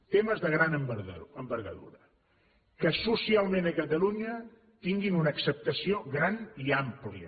temes de gran envergadura que socialment a catalunya tinguin una acceptació gran i àmplia